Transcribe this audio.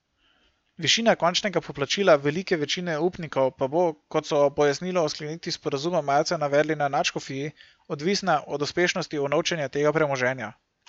Višina končnega poplačila velike večine upnikov pa bo, kot so ob pojasnilu o sklenitvi sporazuma marca navedli na nadškofiji, odvisna od uspešnosti unovčenja tega premoženja.